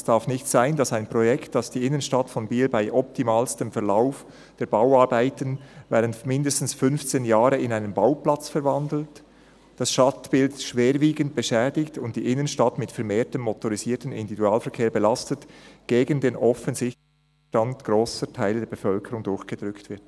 «Es darf nicht sein, dass ein Projekt, das die Innenstadt von Biel bei optimalstem Verlauf der Bauarbeiten während mindestens 15 Jahren in einen Bauplatz verwandelt, das Stadtbild schwerwiegend beschädigt und die Innenstadt mit vermehrtem motorisiertem Individualverkehr belastet, gegen den offensichtlichen Widerstand grosser Teile der Bevölkerung durchgedrückt wird.»